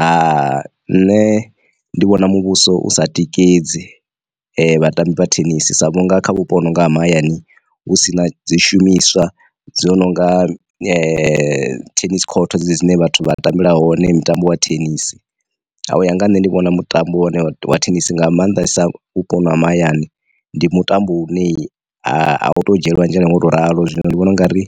Ha nṋe ndi vhona muvhuso u sa tikedzi vha tambi vha thenisi sa vhunga kha vhuponi ha mahayani hu sina dzi shumiswa dzo nonga tennis court dzi dzine vhathu vha tambela hone mitambo wa thenisi. Hai u ya nga ha nṋe ndi vhona mutambo we wa thenisi nga maanḓesa vhupo ha mahayani ndi mutambo u ne a u to u dzhielwa nzhele nga u to ralo zwino, ndi vhona u nga ri